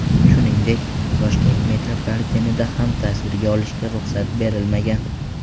Shuningdek, Toshkent metropolitenida ham tasvirga olishga ruxsat berilmagan.